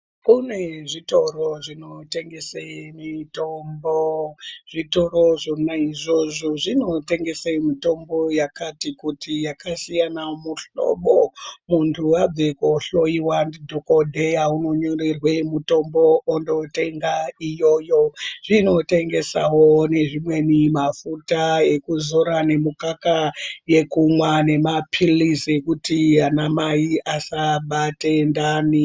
Kune zvitoro zvinotengese mitombo. Zvitoro zvona izvozvo zvinotengese mitombo yakati kuti yakasiyana mihlobo. Muntu abva kohlowiwa ndidhokodheya unonyorerwe mutombo ondotenga iyoyo. Zvinotengesawo nezvimweni mafuta ekuzora, nemukaka yekumwa nemaphikizi ekuti anamai asabate ndani.